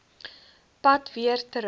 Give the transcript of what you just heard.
pad weer terug